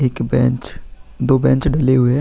एक बैंच दो बेंच ढले हुए हैं।